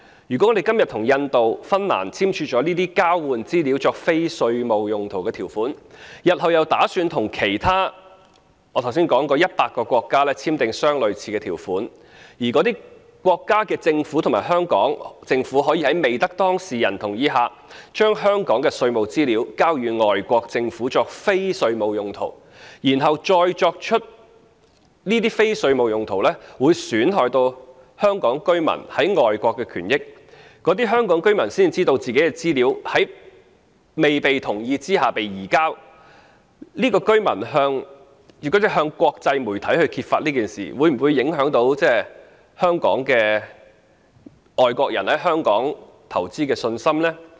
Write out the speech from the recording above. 如果我們今天與印度和芬蘭訂立了這些交換資料作非稅務用途的條款，日後又打算與其他我剛才提及的100個國家簽訂類似的條款，而該等國家的政府及香港政府可以在未經當事人同意下，將香港的稅務資料交予外國政府作非稅務用途，然後這些非稅務用途又損害到香港居民在外國的權益，而這些香港居民屆時才知道他們的資料在未經他們同意下被移交，如果這些居民向國際媒體揭發事件，會否影響外國人在香港投資的信心呢？